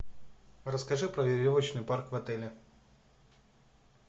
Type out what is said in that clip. расскажи про веревочный парк в отеле